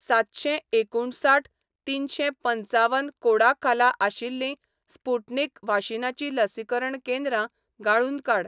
सातशें एकुणसाठ तिनशें पंचावन कोडा खाला आशिल्लीं स्पुटनिक वाशीनाचीं लसीकरण केंद्रां गाळून काड